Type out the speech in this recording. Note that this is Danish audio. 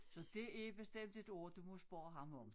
Så det er bestemt et ord du må spørge ham om